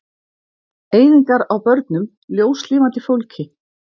Eyðingar á börnum, ljóslifandi fólki.